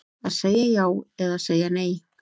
Að segja já eða segja nei